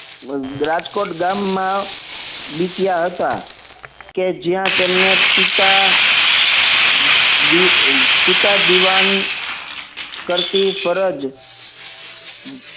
રાજકોટ ગામમાં બિતયા હતા કે જ્યાં તેમને પિતા પિતા દિવાન કરતી ફરજ